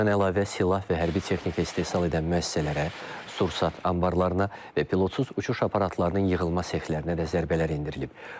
Bundan əlavə silah və hərbi texnika istehsal edən müəssisələrə, sursat anbarlarına və pilotsuz uçuş aparatlarının yığılma sexlərinə də zərbələr endirilib.